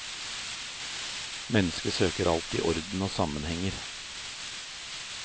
Mennesket søker alltid orden og sammenhenger.